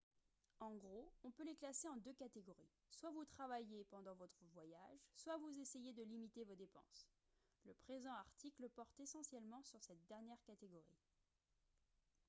en gros on peut les classer en deux catégories soit vous travaillez pendant votre voyage soit vous essayez de limiter vos dépenses le présent article porte essentiellement sur cette dernière catégorie